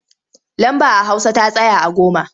Lamba a hausa ta tsaya a goma.